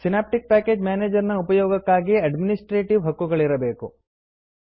synaptic package manager ನ ಉಪಯೋಗಕ್ಕಾಗಿ administrative ಹಕ್ಕುಗಳಿರಬೇಕು